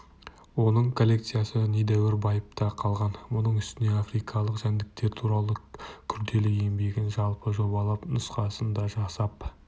оның коллекциясы недәуір байып та қалған мұның үстіне африкалық жәндіктер туралы күрделі еңбегін жалпы жобалап нұсқасын да жасап